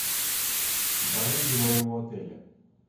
барыги моего отеля